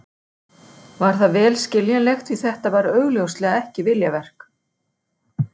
Var það vel skiljanlegt því þetta var augljóslega ekki viljaverk.